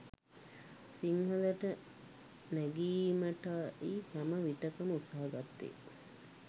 සිංහලට නැගීමටයි හැම විටකම උත්සහ ගත්තේ